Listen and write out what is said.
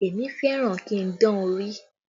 Èmi fẹ́ràn kí n dán orí